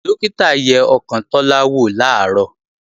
Dókítà yẹ ọkàn Tọ́lá wò làárọ̀